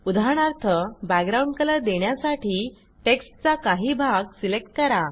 उदाहरणार्थ background colour देण्यासाठी टेक्स्टचा काही भाग सिलेक्ट करा